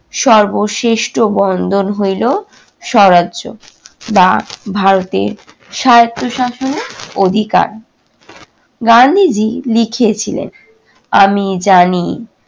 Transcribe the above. সর্বশ্রেষ্ঠ বন্ধন হইল- স্বরাজ্য বা ভারতের স্বায়ত্ত শাসনের অধিকার। গান্ধীজি লিখেছিলেন- আমি জানি